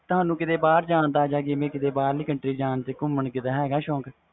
ਤੁਹਾਨੂੰ ਕੀਤੇ ਬਹਾਰ ਜਾਨ ਦਾ ਜਾ ਕੀਤੇ ਬਾਹਰਲੀ country ਜਾਨ ਦੇ ਗੁਮਨ ਦਾ ਸ਼ੌਕ ਹੈ ਗਾ